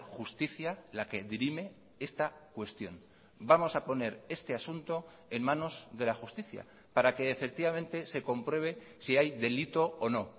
justicia la que dirime esta cuestión vamos a poner este asunto en manos de la justicia para que efectivamente se compruebe si hay delito o no